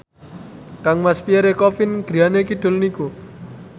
kangmas Pierre Coffin griyane kidul niku